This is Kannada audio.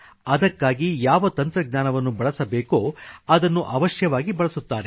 ಅದಕ್ಕಾಗಿ ಯಾವ ತಂತ್ರಜ್ಞಾನವನ್ನು ಬಳಸಬೇಕೋ ಅದನ್ನು ಅವಶ್ಯವಾಗಿ ಬಳಸುತ್ತಾರೆ